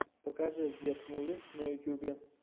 покажи гет мувис на ютюбе